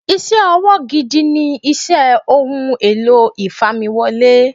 Iṣẹ́ ọwọ́ gidi ni iṣẹ́ Ohun èlò ìfamiwọlé.